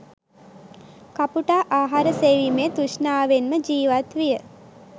කපුටා ආහාර සෙවීමේ තෘෂ්ණාවෙන්ම ජීවත් විය.